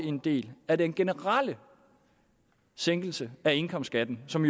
en del af den generelle sænkelse af indkomstskatten som